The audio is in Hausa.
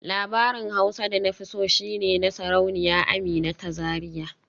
Labarin Hausa da na fi so shi ne na Sarauniya Amina ta Zariya